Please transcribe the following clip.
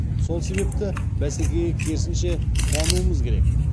сол себепті бәсекеге керісінше қуануымыз керек